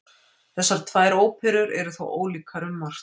Þessar tvær óperur eru þó ólíkar um margt.